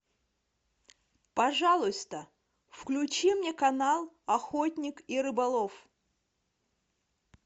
пожалуйста включи мне канал охотник и рыболов